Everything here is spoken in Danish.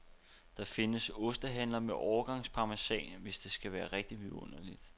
Der findes ostehandlere med årgangsparmesan, hvis det skal være rigtig vidunderligt.